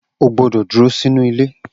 O gbọ́dọ̀ dúró sínú ilé